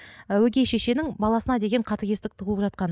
ы өгей шешенің баласына деген қатыгездік туып жатқаны